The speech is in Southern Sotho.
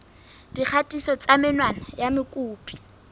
dikgatiso tsa menwana ya mokopi